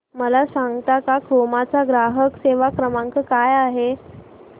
मला सांगता का क्रोमा चा ग्राहक सेवा क्रमांक काय आहे